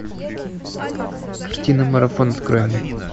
картина марафон открой мне